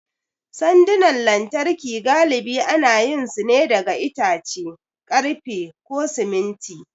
Sandunan lantarki galibi ana yin su ne da itace, ƙarfe, ko siminti.